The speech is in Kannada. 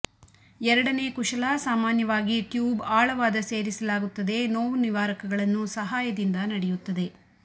ಎರಡನೇ ಕುಶಲ ಸಾಮಾನ್ಯವಾಗಿ ಟ್ಯೂಬ್ ಆಳವಾದ ಸೇರಿಸಲಾಗುತ್ತದೆ ನೋವು ನಿವಾರಕಗಳನ್ನು ಸಹಾಯದಿಂದ ನಡೆಯುತ್ತದೆ